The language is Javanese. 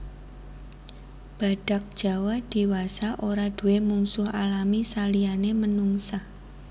Badhak Jawa diwasa ora duwé mungsuh alami saliyané menungsa